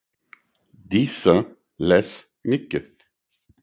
Dísa les mikið.